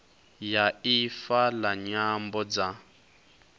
ya ifa la nyambo dza